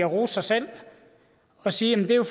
rose sig selv og sige at det jo